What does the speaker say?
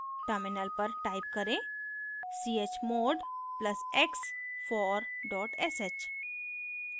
terminal पर type करें chmod + x for sh